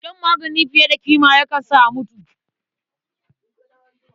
Shan magani fiye da ƙima ma yakan sa a mutu.